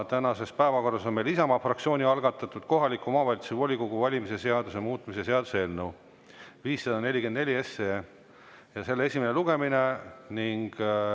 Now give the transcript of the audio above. Tänases päevakorras on Isamaa fraktsiooni algatatud kohaliku omavalitsuse volikogu valimise seaduse muutmise seaduse eelnõu 544 esimene lugemine.